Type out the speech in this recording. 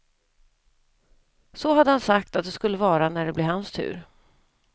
Så hade han sagt att det skulle vara när det blev hans tur.